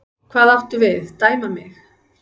Hvað áttu við, dæma mig?